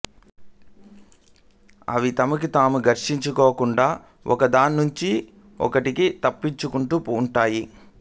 అవి తమలో తాము ఘర్షించుకోకుండా ఒకదాన్నుంచి ఒకటి తప్పించుకుంటూ ఉంటాయి